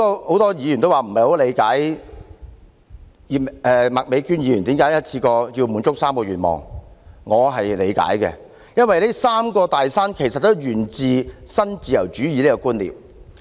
很多議員說，不理解麥美娟議員為何要一次過滿足3個願望，但我是理解的，因為這"三座大山"其實也是源自新自由主義的觀念。